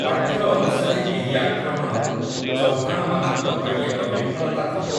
ପାଠ୍ୟ ଅନୁସାରେ ଏହି ଆକ୍ରମଣ ଚୌହ୍ୱାଣମାନଙ୍କ ପାଇଁ ଏକ ବିଫଳତା ଥିଲା ।